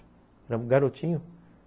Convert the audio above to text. Era um garotinho.